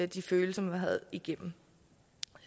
de følelser man har været igennem